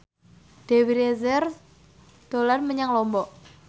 Dewi Rezer dolan menyang Lombok